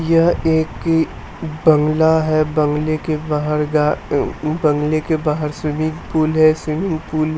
यह एक बंगला है बंगले के बाहर गा अ बंगले के बाहर स्विमिंग पूल है स्विमिंग पूल --